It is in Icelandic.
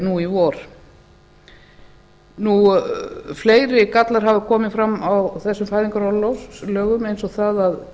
nú í vor fleiri gallar hafa komið fram á þessum fæðingarorlofslögum eins og það að